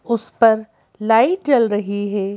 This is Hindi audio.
उस पर लाइट जल रही है।